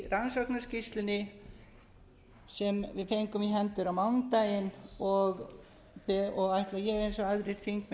rannsóknarskýrslunni sem við fengum í hendur á mánudaginn og ætla ég eins og aðrir þingmenn